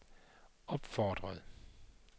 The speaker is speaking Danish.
opfordrede